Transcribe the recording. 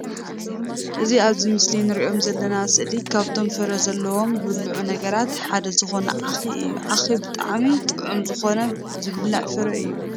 እዚ ኣብዚ ምስሊ እንርእዮ ዘለና ሰእሊ ካብቶም ፍረ ዘለወም ዝብልዑ ነገራት ሓደ ዝኮነ ዓኺ እዩ። ዓኪ ብጣዕሚ ጥዑም ዝኮነ ዝብላዕ ፍረ እዩ።